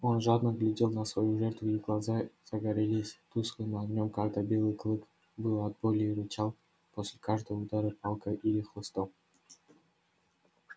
он жадно глядел на свою жертву и глаза загорелись тусклым огнём когда белый клык выл от боли и рычал после каждого удара палкой или хлыстом